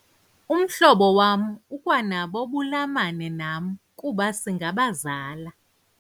Umhlobo wam ukwanabo ubulamane nam kuba singabazala.